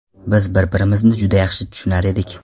Biz bir-birimizni juda yaxshi tushunar edik.